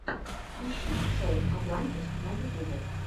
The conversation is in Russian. ищи шоу атлантис на ютюбе